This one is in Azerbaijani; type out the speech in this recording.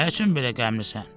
Nə üçün belə qəmlisən?